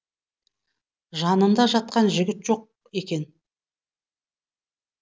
жанында жатқан жігіт жоқ екен